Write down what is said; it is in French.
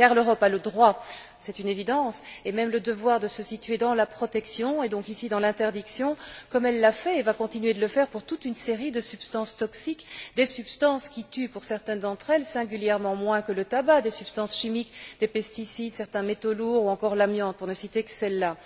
En effet, l'Europe a le droit c'est une évidence et même le devoir de se situer dans la protection, et donc ici dans l'interdiction, comme elle l'a fait et va continuer de le faire pour toute une série de substances toxiques, des substances qui tuent, pour certaines d'entre elles, singulièrement moins que le tabac, des substances chimiques, des pesticides, certains métaux lourds ou encore l'amiante, pour ne citer que celles là.